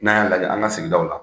N'an y'a lajɛ an ka sigidaw la